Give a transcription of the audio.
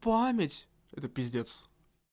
память это пиздец